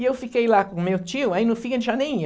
E eu fiquei lá com meu tio, aí no fim ele já nem ia.